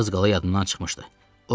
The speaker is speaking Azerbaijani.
Az qala yadımdan çıxmışdı.